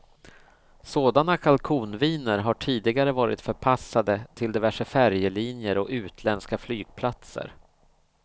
Sådana kalkonviner har tidigare varit förpassade till diverse färjelinjer och utländska flygplatser.